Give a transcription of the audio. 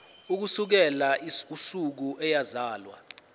ukusukela usuku eyazalwa